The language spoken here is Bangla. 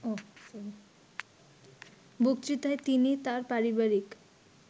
বক্তৃতায় তিনি তার পারিবারিক